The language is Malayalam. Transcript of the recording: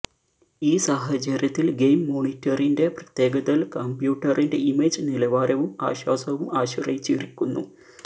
ഈ സാഹചര്യത്തിൽ ഗെയിം മോണിറ്ററിന്റെ പ്രത്യേകതകൾ കമ്പ്യൂട്ടറിന്റെ ഇമേജ് നിലവാരവും ആശ്വാസവും ആശ്രയിച്ചിരിക്കുന്നു